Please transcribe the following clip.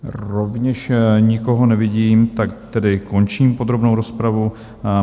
Rovněž nikoho nevidím, tak tedy končím podrobnou rozpravu.